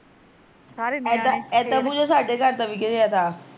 ਏਦਾਂ ਏਦਾਂ ਪੂਜਾ ਸਾਡੇ ਘਰ ਦਾ ਵੀ ਡਿੱਗਿਆ ਤਾ